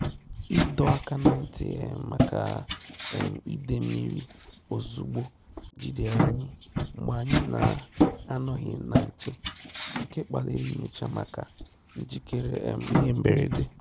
Ìdọ́ áká nà ntị́ um màkà um ìdè mmírí òzùgbò jìdèrè ànyị́ mgbè ànyị́ nà-ànọ́ghị́ nà nchè, nké kpálírí nyòchá màkà njíkéré um ìhè mbèrèdè.